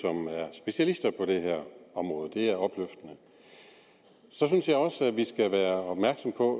specialister på det område det er opløftende så synes jeg også at vi skal være opmærksomme på